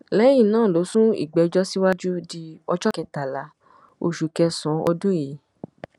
lẹyìn náà ló sún ìgbẹjọ síwájú di ọjọ kẹtàlá oṣù kẹsànán ọdún yìí